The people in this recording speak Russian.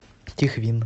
тихвин